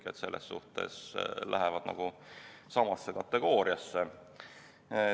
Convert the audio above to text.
Nii et selles suhtes lähevad nad nagu samasse kategooriasse.